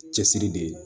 Cɛsiri de ye